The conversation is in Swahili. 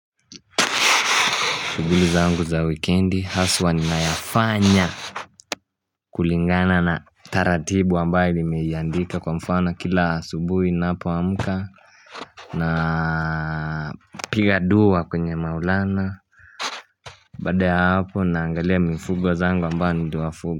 Shughuli zangu za weekendi haswa ninayafanya kulingana na taratibu ambaye nimeiandika kwa mfano kila asubuhi napo amka na piga duwa kwenye maulana Baada ya hapo naangalia mifugo zangu ambayo ni duwa fugo.